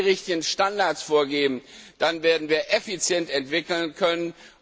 Wenn wir die richtigen Standards vorgeben, dann werden wir effizient entwickeln können.